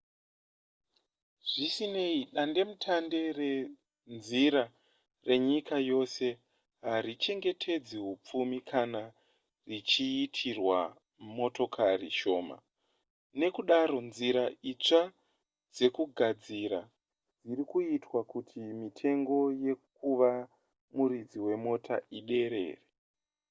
zvisinei dandemutande renzira renyika yose harichengetedze hupfumi kana richiitirwa motokari shoma nekudaro nzira itsva dzekugadzira dzirikuitwa kuti mitengo yekuva muridzi wemota iderere